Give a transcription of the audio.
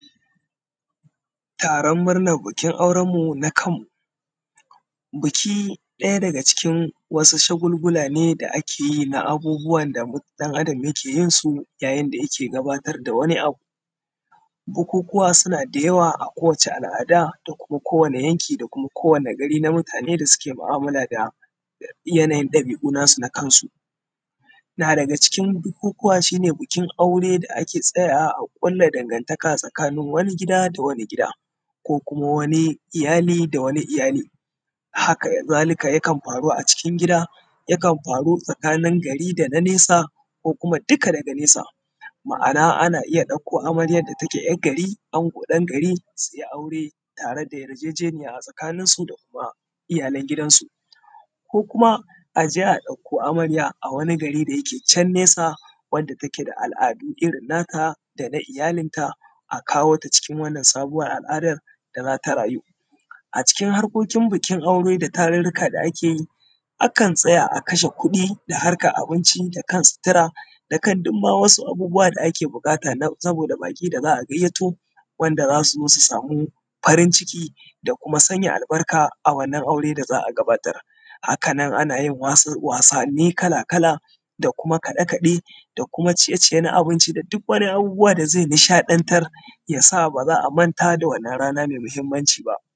Taron murnan bikin auren mu na kanmu biki ɗaya daga cikin shagulgula ne da ake a abubbuwan da ɗan adam yake yin su yayin da yake gudanar da wasu abu. Bukukkuwa suna da yawa a ko:wace al’ada, da kuma ko wani yanki, da kuma ko wani gari, na mutane. Na mutane da suke mu’amala da yanayin ɗabi’u nasu na kansu, na daga cikin bikin abubbuwa shi ne bikin aure, da ake tsaya wa a kulla dangantaka tsakanin wani gida da wani gida, ko kuma wani iyali da wani iyali. Haka zalika, yakan faru a cikin gida, yakan faru tsakanin gari da nanesa, ko kuma duka daga nesa. Ma’ana, ana iya ɗauko amaryar da take ‘yar gari, ango ɗan gari, su yi aure tare da yarjejeniya a tsakaninsu da kuma iyalan gidansu, ko kuma aje a ɗauko amarya a wani gari da yake can nesa, wanda take da al’adu irin naka da na iyalinka aka wota cikin wannan sabuwar al’adar da za ta rayu a cikin aureren. Bikin aure da tarurruka da ake akan tsaya a kashe kuɗi, da kan sitira, da kan duk ma wasu abubuwa da ake buƙata saboda baƙi da za a gayyato, wanda za su zo, su samu farin ciki da kuma sanya albarka a wannan aure da za a gabata. Haka nan ana yin wasan wasanni kala-kala, da kuma kaɗe-kaɗe, da kuma ciye-ciye na abinci, da duk wani abubuwa da ze nishaɗa taron, ya sa ba za a manta da wannan rana me mahinmanci ba:.